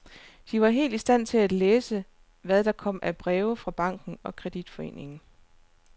De var helt i stand til at læse, hvad der kom af breve fra banken og kreditforeningen.